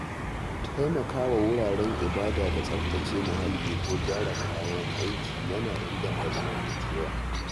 Taimakawa wuraren ibada da tsaftace muhalli ko gyara kayan aiki yana inganta zamantakewa.